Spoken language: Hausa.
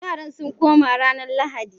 Yaran sun koma ranar Lahadi